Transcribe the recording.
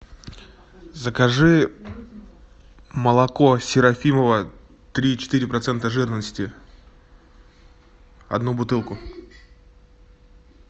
закажи молоко серафимово три и четыре процента жирности одну бутылку